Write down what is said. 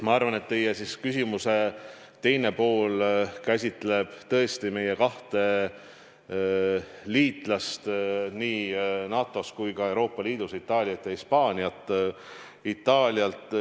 Ma arvan, et teie küsimuse teine pool käsitleb tõesti meie kahte liitlast nii NATO-s kui ka Euroopa Liidus – Itaaliat ja Hispaaniat.